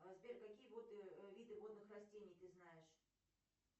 сбер какие виды водных растений ты знаешь